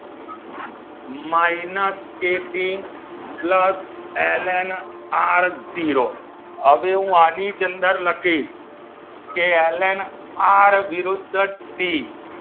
Minus KT plus L N R zero હવે હું આની જ અંદર લખીશ કે એલ એન આર વિરુદ્ધ ટી